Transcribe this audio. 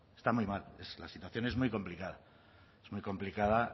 está muy mal la situación es muy complicada es muy complicada